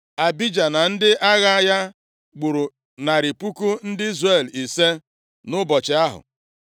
Abija na ndị agha ya gburu narị puku ndị Izrel ise nʼụbọchị ahụ.